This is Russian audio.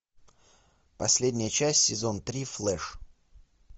последняя часть сезон три флеш